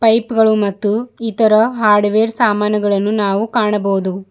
Pipe ಗಳು ಮತ್ತು ಇತರ ಹಾರ್ಡ್ವೇರ್ ಸಾಮಾನುಗಳನ್ನು ನಾವು ಕಾಣಬಹುದು.